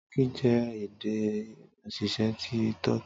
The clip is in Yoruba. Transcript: Tọki jẹ ede osise ti Tọki.